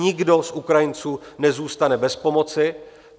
Nikdo z Ukrajinců nezůstane bez pomoci.